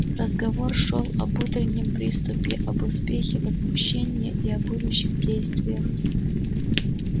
разговор шёл об утреннем приступе об успехе возмущения и о будущих действиях